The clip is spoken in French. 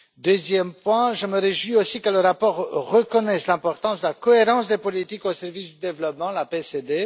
Deuxième point, je me réjouis aussi que le rapport reconnaisse l'importance de la cohérence des politiques au service du développement, la CPD.